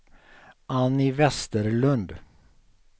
Annie Westerlund